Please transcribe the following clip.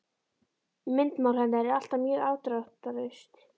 Myndmál hennar er alltaf mjög afdráttarlaust.